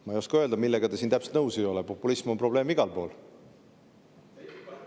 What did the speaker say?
Ma ei oska öelda, millega te siin täpselt nõus ei ole, populism on probleem igal pool.